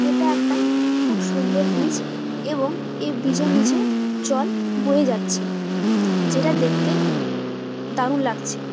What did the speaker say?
এটা একটা খুব সুন্দর ব্রিজ এবং এই ব্রিজ এর নিচে জল বয়ে যাচ্ছে যেটা দেখতে দারুন লাগছে।